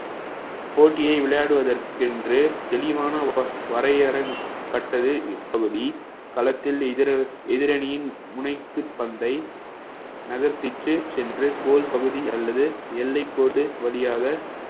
போட்டியை விளையாடுவதற்கென்று தெளிவான வ~ வரையறப்பட்டது இப்பகுதி களத்தில் எதிர~ எதிரணியின் முனைக்கு பந்தை நகர்த்திட்டு சென்று கோல் பகுதி அல்லது எல்லைக்கோடு வழியாக